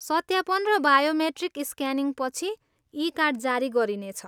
सत्यापन र बायोमेट्रिक स्क्यानिङपछि, ई कार्ड जारी गरिनेछ।